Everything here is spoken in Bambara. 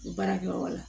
Baarakɛyɔrɔ la